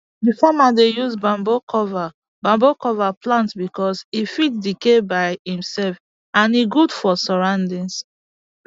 d farmer dey use bamboo cover bamboo cover plant because e fit decay by imself and e good for surroundings